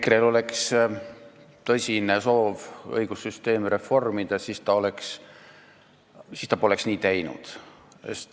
Kui EKRE-l oleks tõsine soov õigussüsteemi reformida, siis ta poleks teinud nii nagu praegu.